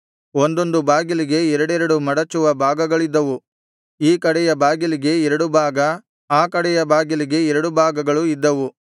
ಒಂದೊಂದು ಬಾಗಿಲಿಗೆ ಎರಡೆರಡು ಮಡಚುವ ಭಾಗಗಳಿದ್ದವು ಈ ಕಡೆಯ ಬಾಗಿಲಿಗೆ ಎರಡು ಭಾಗ ಆ ಕಡೆಯ ಬಾಗಿಲಿಗೆ ಎರಡು ಭಾಗಗಳು ಇದ್ದವು